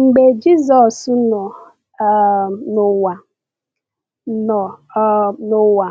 Mgbe Jisọs nọ um n’ụwa, nọ um n’ụwa,